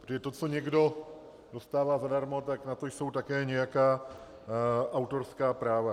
Protože to, co někdo dostává zadarmo, tak na to jsou také nějaká autorská práva.